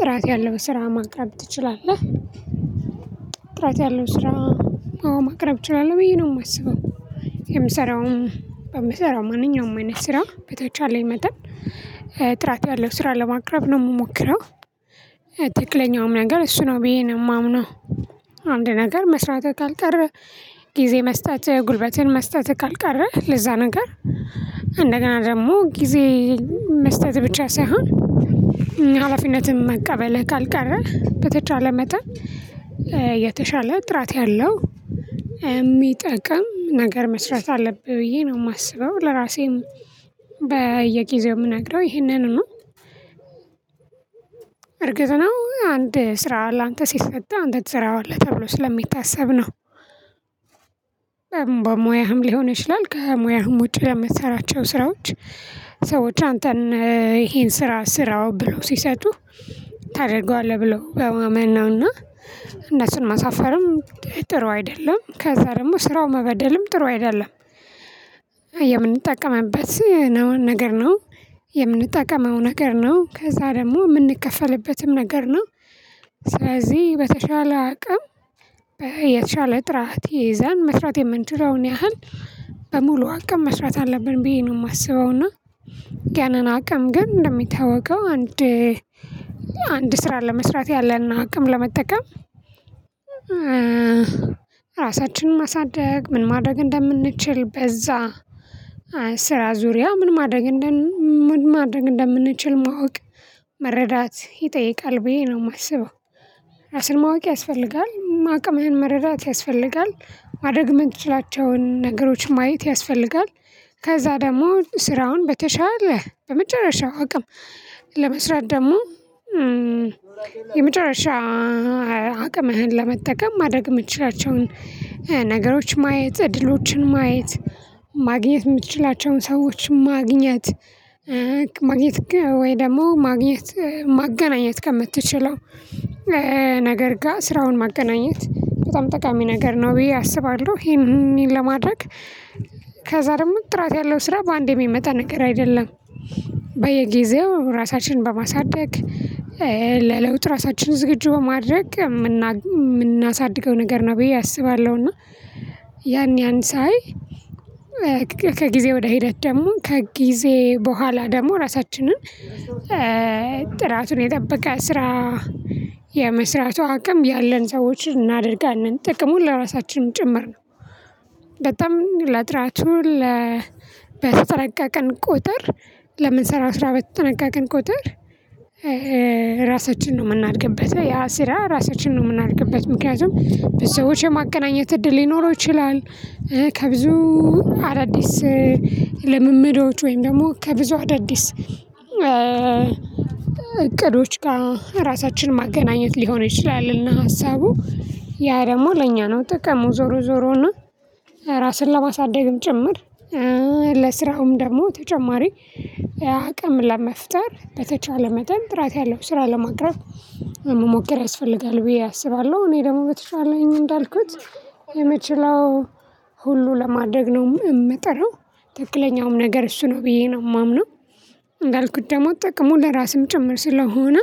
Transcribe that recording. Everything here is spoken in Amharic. ጥራት ያለው ስራ ማቅረብ ትችላለህ? ጥራት ያለው ስራ ማቅረብ ትችላለህ ብዬ ነው የማስበው። የምሰራው በምሰራው ማንኛውም አይነት ስራ በተቻለኝ መጠን። ጥራት ያለው ስራ ለማቅረብ ነው የምሞክረው። ትክክለኛውም ነገር እሱ ነው ብዬ ነው የማምነው። አንድ ነገር መስራት ካልቀረ ጊዜ መስጠት ጉልበትን መስጠት ካልቀረ ለዛ ነገር እንደገና ደግሞ ጊዜ መስጠት ብቻ ሳይሆን። ሀላፊነትን መቀበል ካልቀረ በተቻለ መጠን። የተሻለ ጥራት ያለው የሚጠቅም ነገር መስራት አለብህ ብዬ ነው የማስበው። ለራሴም በየጊዜው የምነግረው ይህንን ነው። እርግጥ ነው አንድ ስራ ላንተ ሲሰጥህ አንተ ትሰራዋለህ ተብሎ ስለማይታሰብ ነው። በሙያህም ሊሆን ይችላል ከሙያህም ውጪ ለምትሰራቸው ስራዎች። ሰዎች አንተን ይሄን ስራ ስራው ብለው ሲሰጡህ ታደርገዋለህ ብለው በማመን ነውና እነሱን ማሳፈርም ጥሩ አይደለም ከዛ ደግሞ ስራው መበደልም ጥሩ አይደለም። የምንጠቀመበት ነው ነገር ነው የምንጠቀመው ነገር ነው ከዛ ደግሞ የምንከፈልበትም ነገር ነው። ስለዚህ በተሻለ አቅም በየተሻለ ጥራት ይዘን መስራት የምንችለውን ያህል በሙሉ አቅም መስራት አለብን ብዬ ነው የማስበው። እና ገናና አቅም ግን እንደሚታወቀው አንድ አንድ ስራ ለመስራት ያለንን አቅም ለመጠቀም ራሳችንን ማሳደግ ምን ማድረግ እንደምንችል በዛ ስራ ዙሪያ ምን ማድረግ ምን ማድረግ እንደምንችል ማወቅ መረዳት ይጠይቃል ብዬ ነው የማስበው። ራስን ማወቅ ያስፈልጋል አቅምህን መረዳት ያስፈልጋል ማድረግ የምንችላቸውን ነገሮች ማየት ያስፈልጋል። ከዛ ደግሞ ስራውን በተሻለ በመጨረሻው አቅም ለመስራት ደግሞ የመጨረሻ አቅምህን ለመጠቀም ማድረግ የምትችላቸውን ነገሮች ማየት እድሎችን ማየት። ማግኘት የምትችላቸውን ሰዎች ማግኘት ማግኘት ወይ ደግሞ ማግኘት ማገናኘት ከምትችለው ነገር ጋር ስራውን ማገናኘት በጣም ጠቃሚ ነገር ነው ብዬ አስባለሁ። ይሄን ለማድረግ ከዛ ደግሞ ጥራት ያለው ስራ በአንዴ የሚመጣ ነገር አይደለም። በየጊዜው ራሳችንን በማሳደግ ለለውጥ ራሳችንን ዝግጁ በማድረግ የምናሳድገው ነገር ነው ብዬ አስባለሁ። እና ያን ያን ሳይ ከጊዜ ወደ ሂደት ደግሞ ከጊዜ በኋላ ደግሞ ራሳችንን ጥራቱን የጠበቀ ስራ የመስራቱ አቅም ያለን ሰዎችን እናድርጋለን ጥቅሙን ለራሳችን ጭምር ነው። በጣም ለጥራቱ በተጠነቀቀን ቁጥር ለምን ስራ በተጠነቀቅን ቁጥር። ራሳችንን ነው የምናድግበት ያ ስራ ራሳችንን ነው የምናድግበት ምክንያቱም ሰዎች የማገናኘት እድል ሊኖረው ይችላል። ከብዙ አዳዲስ ልምምዶች ወይም ደግሞ ከብዙ አዳዲስ እቅዶች ጋር ራሳችን ማገናኘት ሊሆን ይችላል። እና ሀሳቡ ያ ደግሞ ለእኛ ነው ጥቅሙ ዞሮ ዞሮና ራስን ለማሳደግም ጭምር ለስራውም ደግሞ ተጨማሪ አቅም ለመፍጠር በተቻለ መጠን ጥራት ያለው ስራ ለማቅረብ። መሞከር ያስፈልጋል ብዬ አስባለሁ እኔ ደግሞ በተሻለኝ እንዳልኩት የምችለው ሁሉ ለማደግ ነው የምጠረው ትክክለኛውም ነገር እሱ ነው ብዬ ነው የማምነው። እንዳልኩት ደግሞ ጥቅሙ ለራስም ጭምር ስለሆነ